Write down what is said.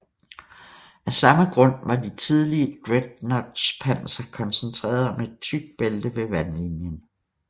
Af samme grund var de tidlige dreadnoughts panser koncentreret om et tykt bælte ved vandlinjen